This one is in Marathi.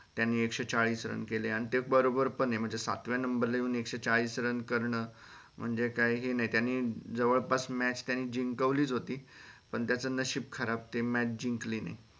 त्यांनी एकशे चाळीस run केले आन ते बरोबर पण हे म्हणजे सातव्या नंबर ला येवून एकशे चाळीस run करण म्हणजे काय हे नाई त्यानी जवळ पास match त्यांनी जिंकवली च होती पण त्याच नशीब खराब ते match जिंकली नाई